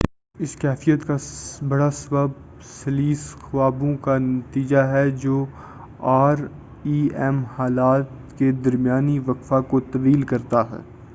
اس کیفیت کا بڑا سبب سلیس خوابوں کا نتیجہ ہے جو آر ای ایم حالات کے درمیانی وقفہ کو طویل کرتا ہے